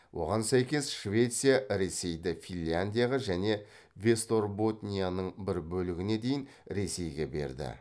оған сәйкес швеция ресейді финляндияға және вестерботнияның бір бөлігіне дейін ресейге берді